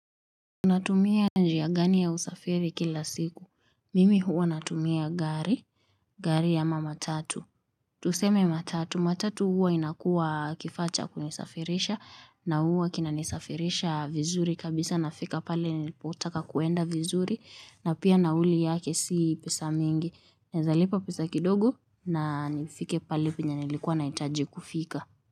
Unatumia njia gani ya usafiri kila siku. Mimi huwa natumia gari, gari ama matatu. Tuseme matatu, matatu huwa inakuwa kifaa cha kunisafirisha na huwa kinanisafirisha vizuri kabisa nafika pale nilipotaka kwenda vizuri na pia nauli yake si pesa mingi. Naweza lipa pesa kidogo na nifike pale penye nilikuwa nahitaji kufika.